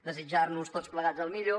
desitjar nos tots plegats el millor